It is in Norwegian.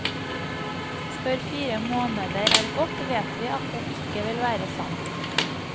Før fire måneder er gått vet vi at det ikke vil være sant.